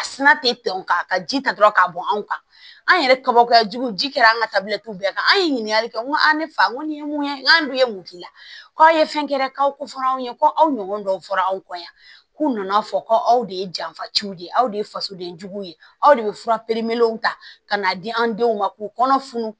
A sina te tɛmɛ o kan ka ji ta dɔrɔn k'a bɔ anw kan an yɛrɛ kabakoyajugu ji kɛra an ka tabilatigiw bɛɛ kan an ye ɲininkali kɛ n ko a ne fa ko nin ye mun ye n k'a dun ye mun k'i la k'a ye fɛn kɛra k'aw ko fɔ anw ye ko aw ɲɔgɔn dɔw fɔra anw kɔ yan k'u nana fɔ ko aw de ye janfa ciw de ye aw de ye fasoden juguw ye aw de bɛ fura pereperew ta ka n'a di an denw ma k'u kɔnɔ funu